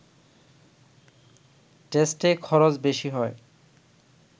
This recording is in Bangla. টেস্টে খরচ বেশি হয়